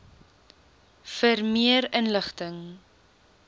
vir meer inligting